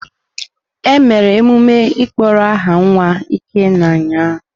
E mere emume ịkpọrọ aha nwa Ikenna ụnyahụ.